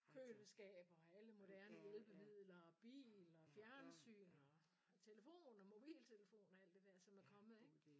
Køleskab og alle moderne hjælpemidler og bil og fjernsyn og telefon og mobiltelefon og alt det der som er kommet ik